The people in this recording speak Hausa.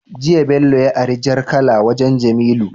Jiya bello ya ari jar kala wajan jamilu